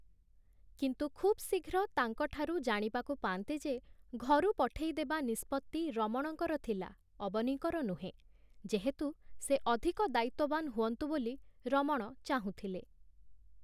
କିନ୍ତୁ ଖୁବ୍ ଶୀଘ୍ର ତାଙ୍କଠାରୁ ଜାଣିବାକୁ ପାଆନ୍ତି ଯେ, ଘରୁ ପଠେଇ ଦେବା ନିଷ୍ପତ୍ତି ରମଣଙ୍କର ଥିଲା, ଅବନୀଙ୍କର ନୁହେଁ, ଯେହେତୁ ସେ ଅଧିକ ଦାୟିତ୍ଵବାନ ହୁଅନ୍ତୁ ବୋଲି ରମଣ ଚାହୁଁଥିଲେ ।